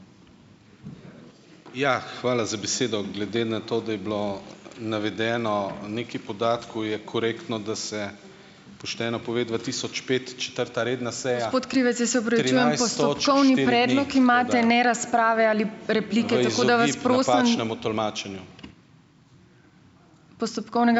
Ja, hvala za besedo. Glede na to, da je bilo navedeno nekaj podatkov, je korektno, da se pošteno pove dva tisoč pet, četrta redna seja